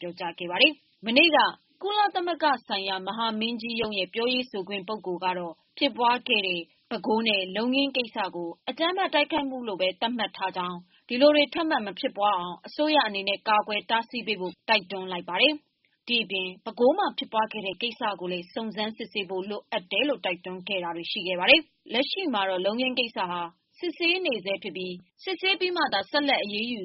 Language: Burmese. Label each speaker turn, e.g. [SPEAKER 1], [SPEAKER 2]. [SPEAKER 1] ပြောကြား ခဲ့ပါတယ်။ မနေ့က ကုလသမဂ္ဂလူ့အခွင့်အရေးဆိုင်ရာ မဟာမင်းကြီးရုံးရဲ့ ပြောခွင့်ရပုဂ္ဂိုလ် ကတော့ဖြစ်ပွားခဲ့တဲ့ ပဲခူးနဲ့ လုံခင်းကိစ္စကို အကြမ်းဖက်တိုက်ခိုက်မှုလို့ ဘဲသတ်မှတ်ထားတာကြောင်း၊ ဒီလိုတွေ ထပ်မဖြစ်ပေါ်အောင် အစိုးရအနေနဲ့ ကာကွယ်တားဆီးဖို့ ကုလသမဂ္ဂက တိုက်တွန်းလိုက်ပါတယ်။ ဒါ့အပြင် ပဲခူးမှာဖြစ်ပွားခဲ့တဲ့ ကိစ္စကိုလည်း စုံစမ်းစစ်ဆေးဖို့ လိုတယ်လို့ တိုက်တွန်းထားခဲ့ပါတယ်။ လက်ရှိကတော့လုံခင်းကိစ္စကစစ်ဆေးနေဆဲဖြစ်ပြီး စစ်ဆေးပြီးမှသာ ဆက်လက်အရေးယူ